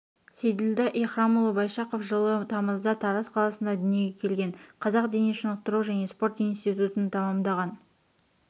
сейділда икрамұлы байшақов жылы тамызда тараз қаласында дүниеге келген қазақ дене шынықтыру және спорт институтын тамамдаған